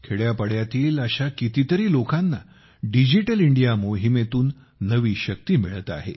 खेड्यापाड्यातील अशा कितीतरी लोकांना डिजिटल इंडिया मोहिमेतून नवी शक्ती मिळत आहे